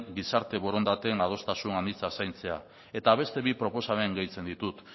gizarte borondateen adostasun anitza zaintzea eta beste bi proposamen gehitzen ditut